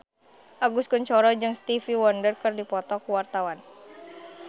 Agus Kuncoro jeung Stevie Wonder keur dipoto ku wartawan